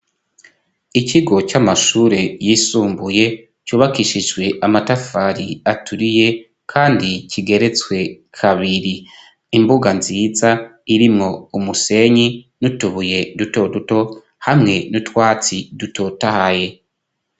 Ikigo c'amashure yisumbuye cubakishijwe amatafari aturiye kandi kigeretswe kabiri imbuga nziza irimwo umusenyi n'utubuye duto duto hamwe n'utwatsi dutotahaye.